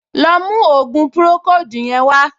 Lọ mú ògùn pùròkóòdù yẹn wá!